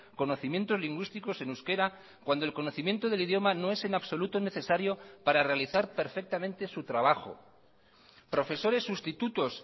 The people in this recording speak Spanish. conocimientos lingüísticos en euskera cuando el conocimiento del idioma no es en absoluto necesario para realizar perfectamente su trabajo profesores sustitutos